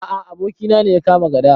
A a, abokina ne ya kama gada.